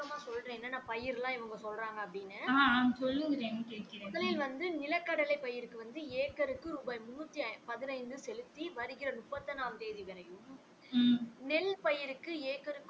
விளக்கமா சொல்றேன் என்னென்ன பயிர்லாம் இவங்க சொல்றாங்க அப்படின்னு முதலில் வந்து நிலக்கடலை பயிர்களுக்கு வந்து ஏக்கருக்கு ரூபாய் முண்ணூத்தி பதினைந்து செலுத்தி வருகிற முப்பத்தி ஒன்னாம் தேதி வரையும் நெல் பயிர்க்கு ஏக்கருக்கு